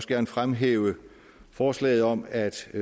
gerne fremhæve forslaget om at